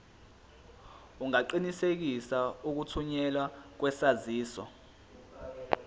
ungaqinisekisa ukuthunyelwa kwesaziso